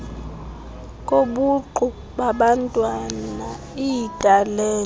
kobuqu babantwana iitalente